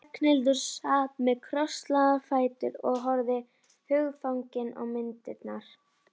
Ragnhildur sat með krosslagða fætur og horfði hugfangin á myndirnar.